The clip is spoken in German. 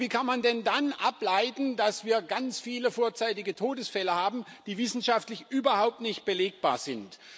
Aber wie kann man denn dann ableiten, dass wir ganz viele vorzeitige Todesfälle haben, die wissenschaftlich überhaupt nicht belegbar sind?